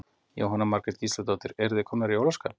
Jóhanna Margrét Gísladóttir: Eruð þið komnar í jólaskap?